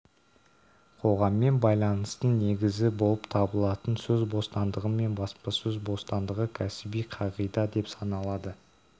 қоғаммен байланыстың негізі болып табылатын сөз бостандығы мен баспасөз бостандығы кәсіби қағида деп саналады